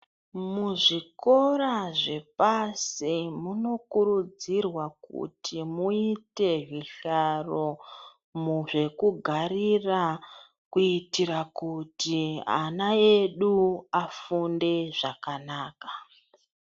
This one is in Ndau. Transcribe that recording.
Muzvikora zvepashi munokurudzirwa kuti muite zvihlaro zvekugarira kuitira kuti ana edu afunde zvakanaka.